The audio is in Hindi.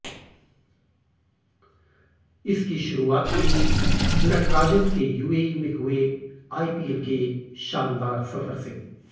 इसकी शुरुआत हुई नटराजन के यूएई में हुए आइपीएल के शानदार सफर से